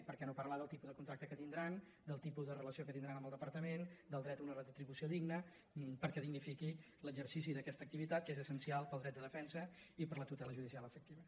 perquè no parla del tipus de contracte que tindran del tipus de relació que tindran amb el departament del dret a una retribució digna perquè dignifiqui l’exercici d’aquesta activitat que és essencial per al dret de de·fensa i per a la tutela judicial efectiva